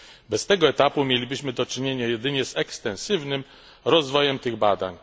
Bez tego etapu mielibyśmy do czynienia jedynie z ekstensywnym rozwojem tych badań.